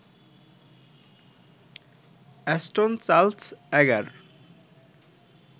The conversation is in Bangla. Ashton Charles Agar